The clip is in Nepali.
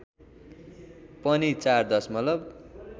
पनि ४ दशमलव